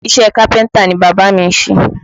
Iṣẹ́ kápẹ́ntà ni bàbá mi ń ṣe